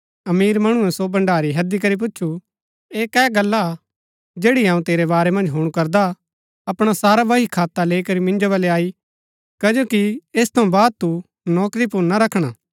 अमीर मणुऐ सो भण्डारी हैदी करी पुछू ऐह कै गल्ला जैड़ी अऊँ तेरै बारै मन्ज हुणु करदा अपणा सारा बहीखाता लैई करी मिन्जो बल्लै आई कजो कि ऐस थऊँ बाद तू नौकरी पुर ना रखणा